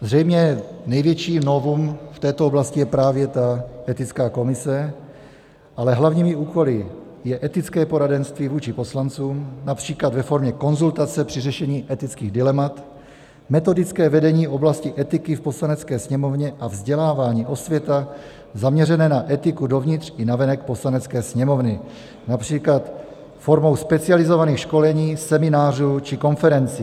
Zřejmě největší novum v této oblasti je právě ta etická komise, ale hlavními úkoly je etické poradenství vůči poslancům například ve formě konzultace při řešení etických dilemat, metodické vedení oblasti etiky v Poslanecké sněmovně a vzdělávání, osvěta zaměřené na etiku dovnitř i navenek Poslanecké sněmovny, například formou specializovaných školení, seminářů či konferencí.